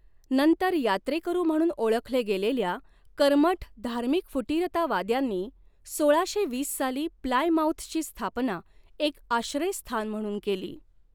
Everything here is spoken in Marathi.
नंतर यात्रेकरू म्हणून ओळखले गेलेल्या कर्मठ धार्मिक फुटीरतावाद्यांनी, सोळाशे वीस साली प्लायमाऊथची स्थापना एक आश्रयस्थान म्हणून केली.